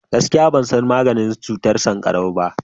gaskiya ban san maganin cutar sankarau ba